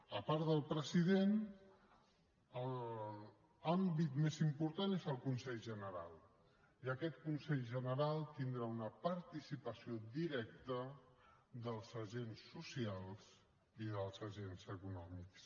a part del president l’àmbit més important és el consell general i aquest consell general tindrà una participació directa dels agents socials i dels agents econòmics